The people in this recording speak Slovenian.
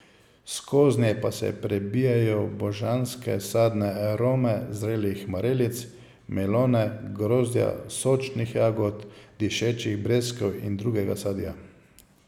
Skoznje pa se prebijajo božanske sadne arome zrelih marelic, melone, grozdja, sočnih jagod, dišečih breskev in drugega sadja.